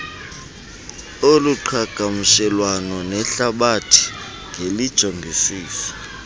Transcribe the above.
oluqhagamshelana nehlabathi ngelijongisisa